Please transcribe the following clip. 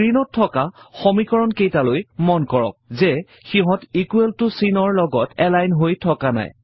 স্ক্ৰীণত থকা সমীকৰণ কেইটালৈ মন কৰক যে সিহঁত ইকোৱেল ত চিনৰ লগত এলাইন হৈ থকা নাই